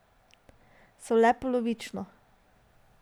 So le polovično.